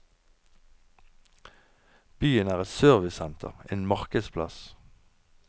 Byen er et servicesenter, en markedsplass.